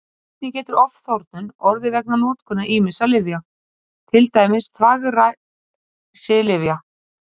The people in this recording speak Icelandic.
Einnig getur ofþornun orðið vegna notkunar ýmissa lyfja, til dæmis þvagræsilyfja.